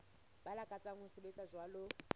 ba lakatsang ho sebetsa jwalo